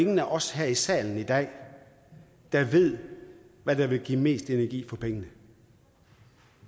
nogen af os her i salen i dag der ved hvad der vil give mest energi for pengene